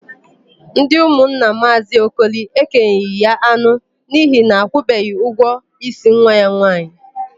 Ndị ụmụnna Maazị Okoli ekenyeghị ya anụ n'ihi na akwụbeghị ụgwọ ísí nwa ya nwaanyị.